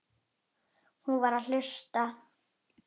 Hún var að hlusta.